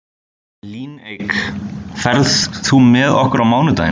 Líneik, ferð þú með okkur á mánudaginn?